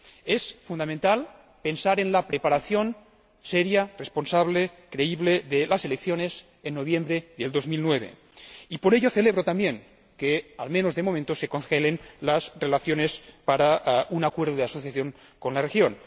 Es fundamental pensar en la preparación seria, responsable, creíble de las elecciones en noviembre de 2009 y, por ello, celebro también que, al menos de momento, se congelen las relaciones para un acuerdo de asociación con la región.